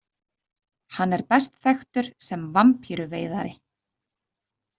Hann er best þekktur sem vampíru veiðari.